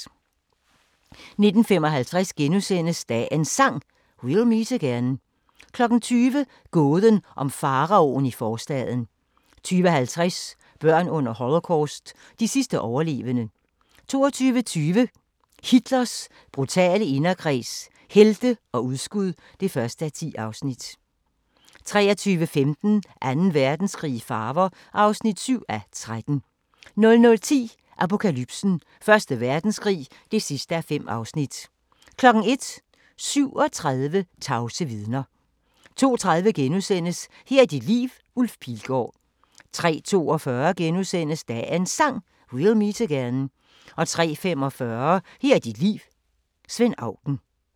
19:55: Dagens Sang: We'll meet again * 20:00: Gåden om faraoen i forstaden 20:50: Børn under Holocaust – de sidste overlevende 22:20: Hitlers brutale inderkreds – helte og udskud (1:10) 23:15: Anden Verdenskrig i farver (7:13) 00:10: Apokalypsen: Første Verdenskrig (5:5) 01:00: 37 tavse vidner 02:30: Her er dit liv – Ulf Pilgaard * 03:42: Dagens Sang: We'll meet again * 03:45: Her er dit liv – Svend Auken